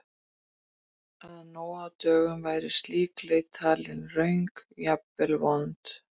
Að nú á dögum væri slík leit talin röng, jafnvel vond?